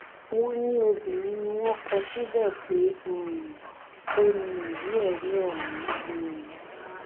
wọn ní obìnrin ni wọn kọ síbẹ pé um ó ní ìwéẹrí ọhún um